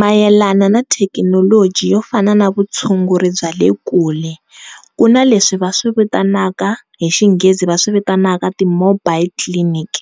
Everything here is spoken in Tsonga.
Mayelana na thekinoloji yo fana na vutshunguri bya le kule ku na leswi va swivitanaka hi xinghezi va swivitanaka ti-mobile clinic